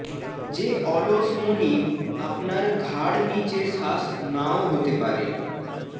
যে অলস মনিব আপনার ঘাড় নিচে শ্বাস নাও হতে পারে